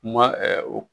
U ma